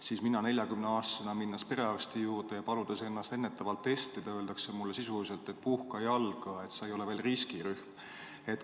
Kui mina 40‑aastasena lähen perearsti juurde ja palun ennast ennetavalt testida, siis öeldakse mulle sisuliselt, et puhka jalga, sa ei ole veel riskirühmas.